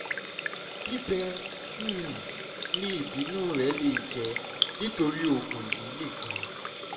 bíbẹ um ni ibinu rẹ le jẹ nitori oogun yii nikan